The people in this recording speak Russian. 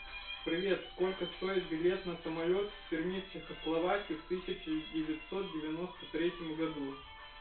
привет сколько стоит билет на самолёт в перми чехословакии в тысяча девятьсот девяноста третьем году